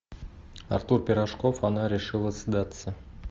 артур пирожков она решила сдаться